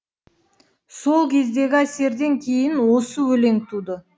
сол кездегі әсерден кейін осы өлең туды